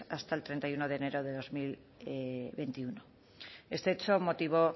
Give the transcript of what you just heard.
hasta el treinta y uno de enero de dos mil veintiuno este hecho motivó